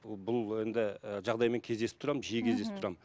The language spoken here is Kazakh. ы бұл енді жағдаймен кездесіп тұрамын мхм жиі кездесіп тұрамын